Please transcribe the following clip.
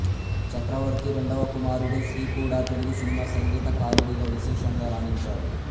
చక్రవర్తి రెండవ కుమారుడు శ్రీ కూడా తెలుగు సినిమా సంగీతకారుడిగా విశేషంగా రాణించాడు